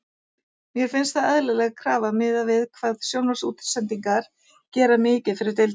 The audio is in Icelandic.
Mér finnst það eðlileg krafa miðað við hvað sjónvarpsútsendingar gera mikið fyrir deildina.